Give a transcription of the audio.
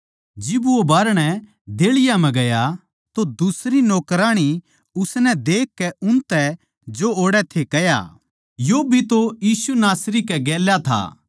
जिब वो बाहरणै देहळियाँ म्ह गया तो दुसरी नौकराणी उसनै देखकै उनतै जो ओड़ै थे कह्या यो भी तो यीशु नासरी कै गेल्या था